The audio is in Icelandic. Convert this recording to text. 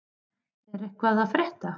Er eitthvað að frétta?